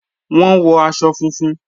Wọ́n wọ̀ àṣọ fúnfún.